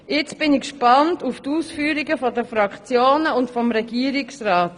Nun bin ich gespannt auf die Ausführungen der Fraktionen und des Regierungsrats.